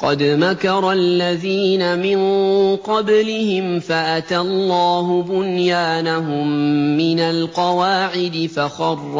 قَدْ مَكَرَ الَّذِينَ مِن قَبْلِهِمْ فَأَتَى اللَّهُ بُنْيَانَهُم مِّنَ الْقَوَاعِدِ فَخَرَّ